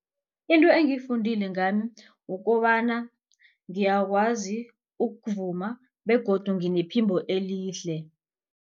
Into engiyifundile ngami kukobana ngiyakwazi ukuvuma begodu nginephimbo elihle.